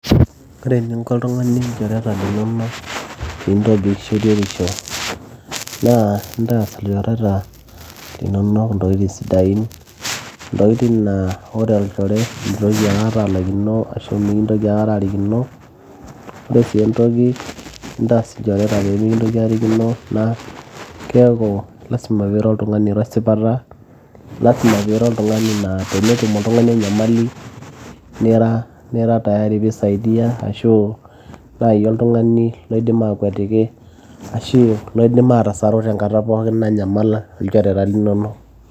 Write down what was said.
ore eninko oltung'ani ilchoreta linonok piintobik shoruetisho naa intaas ilchoreta linonok intokitin sidain intokitin naa wore olchore mitoki aikata alaikino ashu mikintoki akata arikino ore sii entoki nintaas ilchoreta peemikintoki aarikino naa keeku lasima piira oltung'ani oiro esipata lasima piira oltung'ani naa tenetum oltung'ani enyamali nira tayari pee isaidia ashu naji oltung'ani loidim aakwetiki ashu loidim aatasaru tenkata pookin nanyamal ilchoreta linonok.